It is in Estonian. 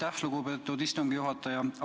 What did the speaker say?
Aitäh, lugupeetud istungi juhataja!